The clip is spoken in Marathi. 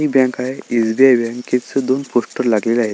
हि बँक आहे एस.बी.आय. बँक हिच दोन पोस्टर लागलेले आहेत.